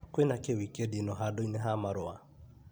Kwĩna kĩ wikendi ĩno handũ-inĩ ha marũa?